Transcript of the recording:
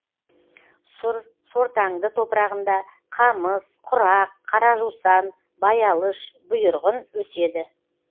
сұр сортаңды топырағында қамыс құрақ қара жусан баялыш бұйырғын өседі